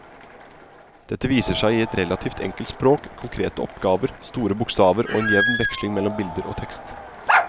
Dette viser seg i et relativt enkelt språk, konkrete oppgaver, store bokstaver og en jevn veksling mellom bilder og tekst.